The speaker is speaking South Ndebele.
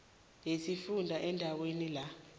yesifunda endaweni la